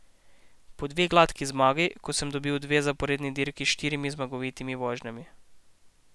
Pa dve gladki zmagi, ko sem dobil dve zaporedni dirki s štirimi zmagovitimi vožnjami.